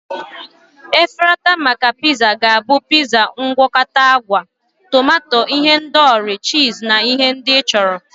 Efrata maka pizza ga-abụ pizza mgwakota agwa, tomato ihendori, cheese, na ihe ndị ị chọrọ.